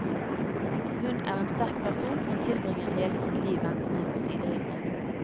Hun er en sterk person, men tilbringer hele sitt liv ventende på sidelinjen.